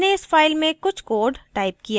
मैंने इस file में कुछ code टाइप किया है